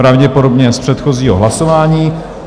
Pravděpodobně z předchozího hlasování.